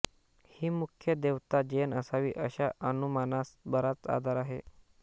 ही मुख्य देवता जैन असावी अशा अनुमानास बराच आधार आहे